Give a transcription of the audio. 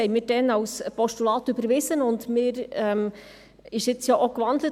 Wir überwiesen das damals als Postulat.